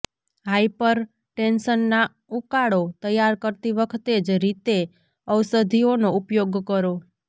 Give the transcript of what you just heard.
હાયપરટેન્શનના ઉકાળો તૈયાર કરતી વખતે જ રીતે ઔષધીઓનો ઉપયોગ કરો